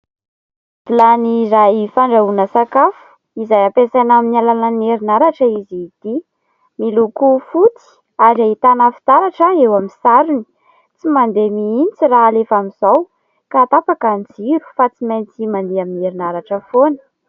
Vilany iray fandrahoana sakafo izay hampiasaina amin'ny alalan'ny herinaratra izy ity, miloko fotsy ary ahitana fitaratra eo amin'ny sarony, tsy mandeha mihitsy raha halefa amin'izao ka tapaka ny jiro fa tsy maintsy mandeha amin'ny herinaratra foana.